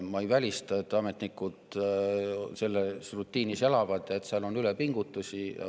Ma ei välista, et ametnikud selles rutiinis elavad ja et seal on ülepingutusi.